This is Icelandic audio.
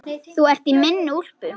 Þú ert í minni úlpu.